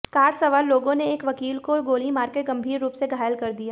car सवार लोगों ने एक वकील को गोली मारकर गंभीर रूप से घायल कर दिया